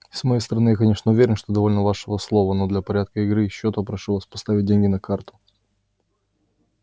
с моей стороны я конечно уверен что довольно вашего слова но для порядка игры и счётов прошу вас поставить деньги на карту